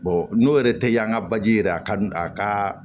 n'o yɛrɛ tɛ yan ka baji yɛrɛ a ka a ka